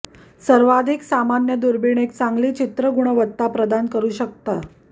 सर्वाधिक सामान्य दुर्बीण एक चांगली चित्र गुणवत्ता प्रदान करू शकता